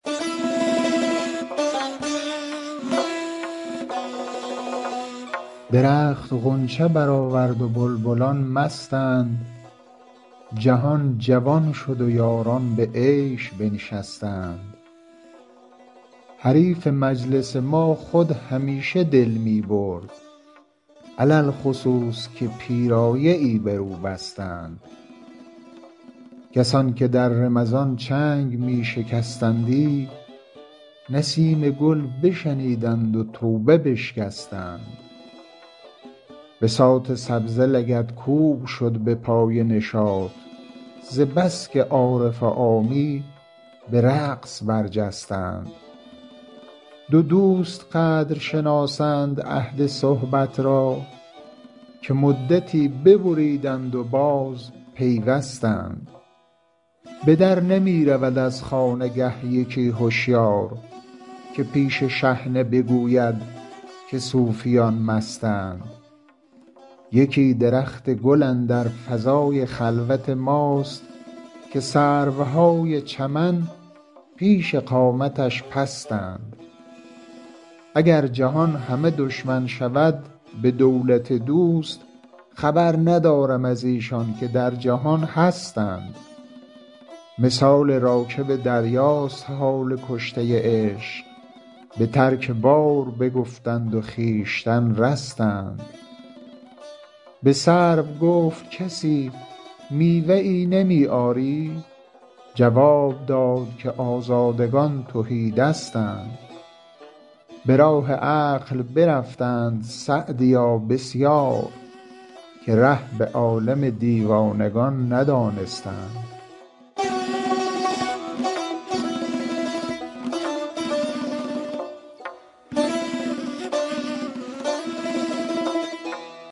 درخت غنچه برآورد و بلبلان مستند جهان جوان شد و یاران به عیش بنشستند حریف مجلس ما خود همیشه دل می برد علی الخصوص که پیرایه ای بر او بستند کسان که در رمضان چنگ می شکستندی نسیم گل بشنیدند و توبه بشکستند بساط سبزه لگدکوب شد به پای نشاط ز بس که عارف و عامی به رقص برجستند دو دوست قدر شناسند عهد صحبت را که مدتی ببریدند و بازپیوستند به در نمی رود از خانگه یکی هشیار که پیش شحنه بگوید که صوفیان مستند یکی درخت گل اندر فضای خلوت ماست که سروهای چمن پیش قامتش پستند اگر جهان همه دشمن شود به دولت دوست خبر ندارم از ایشان که در جهان هستند مثال راکب دریاست حال کشته عشق به ترک بار بگفتند و خویشتن رستند به سرو گفت کسی میوه ای نمی آری جواب داد که آزادگان تهی دستند به راه عقل برفتند سعدیا بسیار که ره به عالم دیوانگان ندانستند